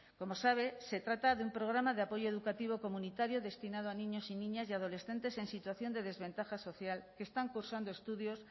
como sabe se trata de un programa de apoyo educativo comunitario destinado a niños y niñas y adolescentes en situación de desventaja social que están cursando estudios